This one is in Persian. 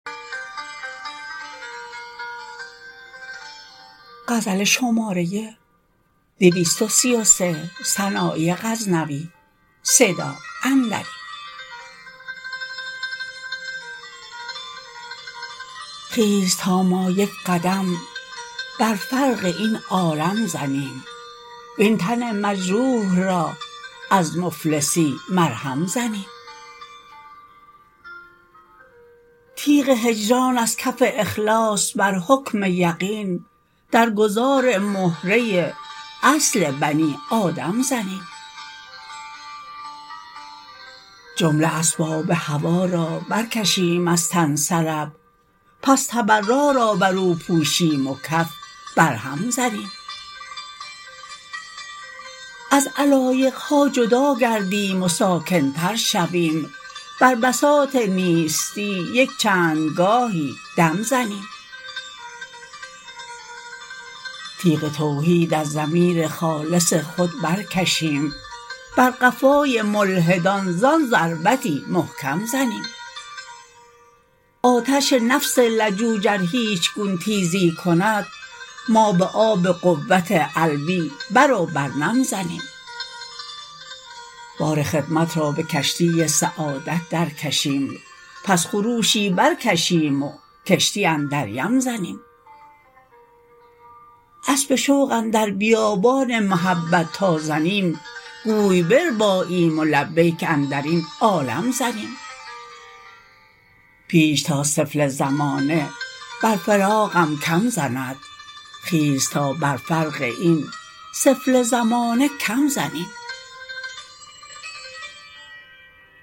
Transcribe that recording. خیز تا ما یک قدم بر فرق این عالم زنیم وین تن مجروح را از مفلسی مرهم زنیم تیغ هجران از کف اخلاص بر حکم یقین در گذار مهره اصل بنی آدم زنیم جمله اسباب هوا را برکشیم از تن سلب پس تبرا را برو پوشیم و کف بر هم زنیم از علایقها جدا گردیم و ساکن تر شویم بر بساط نیستی یک چند گاهی دم زنیم تیغ توحید از ضمیر خالص خود برکشیم بر قفای ملحدان زان ضربتی محکم زنیم آتش نفس لجوج ار هیچ گون تیزی کند ما به آب قوت علوی برو برنم زنیم بار خدمت را به کشتی سعادت در کشیم پس خروشی بر کشیم و کشتی اندر یم زنیم اسب شوق اندر بیابان محبت تا زنیم گوی برباییم و لبیک اندرین عالم زنیم پیش تا سفله زمانه بر فراقم کم زند خیز تا بر فرق این سفله زمانه کم زنیم